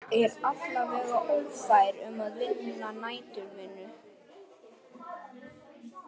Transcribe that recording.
Er alla vega ófær um að vinna næturvinnu.